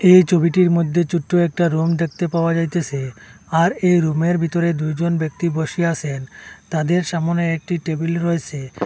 এই ছবিটির মধ্যে ছোট্ট একটি রুম দেখতে পাওয়া যাইতেসে আর এই রুমের ভিতরে দুইজন ব্যক্তি বসে আসে তাদের সামোনে একটি টেবিল রয়েসে।